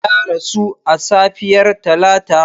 Ya rasu a safiyar Talata.